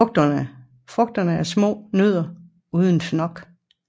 Frugterne er små nødder uden fnok